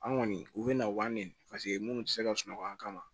An kɔni u bɛ na wari minnu tɛ se ka sunɔgɔ an kama